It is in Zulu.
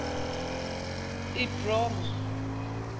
ebroma